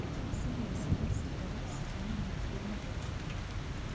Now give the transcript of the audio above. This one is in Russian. серия восемнадцать второго сезона мультфильма декстер